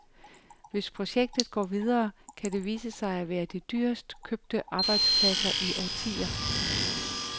Hvis projektet går videre, kan det vise sig at være de dyrest købte arbejdspladser i årtier.